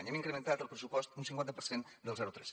hem incrementat el pressupost un cinquanta per cent del zero tres